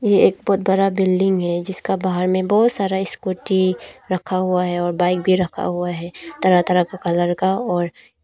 यह एक बहुत बड़ा बिल्डिंग है जिसका बाहर में बहुत सारा स्कूटी रखा हुआ है और बाइक भी रखा हुआ है तरह तरह का कलर का और--